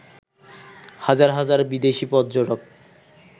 হাজার হাজার বিদেশি পর্যটক